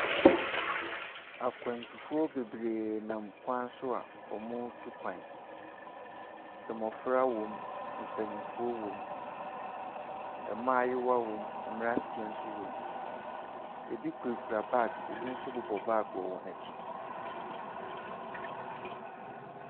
Akwantufoɔ bebree nam kwan so a wɔretu kwan. Mmofra wɔ mu, mpanyimfo wɔ mu, mmaayewa wɔ mu na mmranteɛ nso wɔ mu. Ebi kurakura bags na ebi nso bobɔ bags wɔ wɔn akyi.